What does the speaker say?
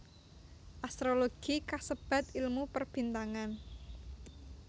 Astrologi kasebat ilmu Perbintangan